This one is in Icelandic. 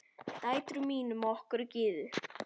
Dætrum mínum og okkur Gyðu.